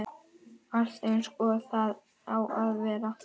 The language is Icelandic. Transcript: Allt eins og það á að vera